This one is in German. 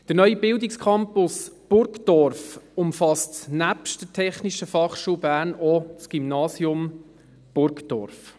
Der neue Bildungscampus Burgdorf umfasst nebst der TF Bern auch das Gymnasium Burgdorf.